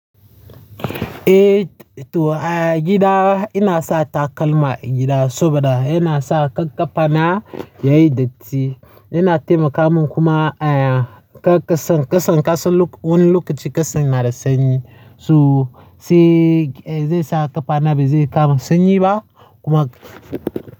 Eh, to gida ina sa takalma a gida saboda yana sa kar ƙafana yayi datti. Yana taimaka min kuma ƙasan, ƙasan, ƙasan wani lokaci ƙasan na da sanyi. So zai sa ƙafana bazai kama sanyi ba kuma.